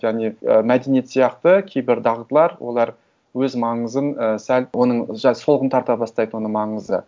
және і мәдениет сияқты кейбір дағдылар олар өз маңызын і сәл оның жай солғын тарта бастайды оның маңызы